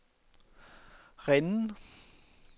Rennes